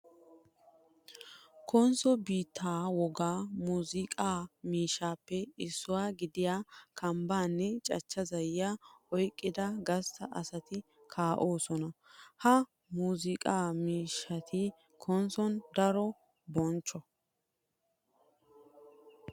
Konsso biittaa wogaa muzunqqaa miishshaappe issuwa gidiya kambbaa nne cachcha zayyiya oyqqida gastta asati kaa'osona. Ha muzunqqaa miishshati Konsson daro bonchcho.